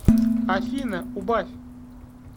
афина убавь